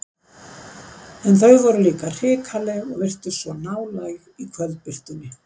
En þau voru líka hrikaleg og virtust svo nálæg í kvöldbirtunni.